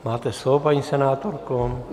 Máte slovo, paní senátorko.